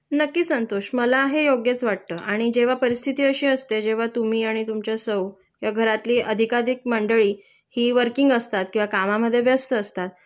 नक्कीच संतोष मला हे योग्यच वाटत आणि जेंव्हा परिस्थिती अशी असते जेंव्हा तुम्ही आणि तुमच्या सौ या घरातली अधिकाधिक मंडळी हि वर्किंग असतात किंवा कामामध्ये व्यस्त असतात